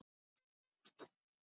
Og það var þá sem ég mætti Ragnari.